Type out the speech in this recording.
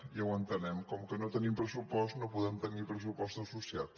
ja ho entenem com que no tenim pressupost no podem tenir pressupost associat